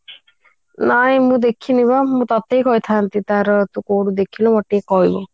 ନାଇଁ ମୁଁ ଦେଖିନି ପା ମୁଁ ତତେ ହିଁ କହିଥାନ୍ତି ତାର ତୁ କୋଉଠୁ ଦେଖିଲୁ ମତେ ଟିକେ କହିବୁ